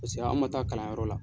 Paseke an man taa kalanyɔrɔ la.